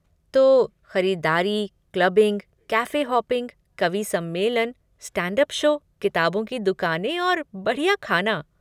तो, खरीदारी, clubbing, cafe hopping, कवि सम्मेलन, स्टैंड अप शो, किताबों की दुकानें और बढ़िया ख़ाना।